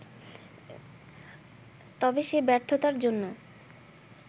তবে সেই ব্যর্থতার জন্য